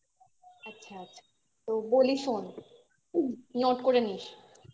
আচ্ছা আচ্ছা তো বলি শোন note করে নিস